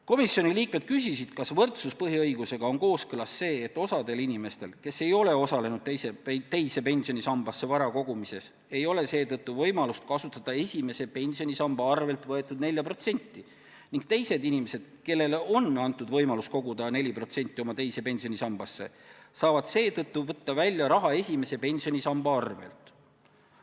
Komisjoni liikmed küsisid, kas võrdsuspõhiõigusega on kooskõlas see, et osa inimesi – need, kes ei ole teise pensionisambasse vara kogunud – ei saa võimalust kasutada esimese pensionisamba 4%, kuid teised inimesed – need, kellel on olnud võimalik kanda esimesest pensionisambast 4% oma teise pensionisambasse – saavad võtta välja raha esimese pensionisamba arvelt.